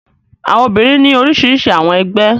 Àwọn obìnrin ní orísirísi àwọn ẹgbẹ́.